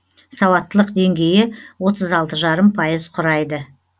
сауаттылық деңгейі отыз алты жарым пайыз құрайды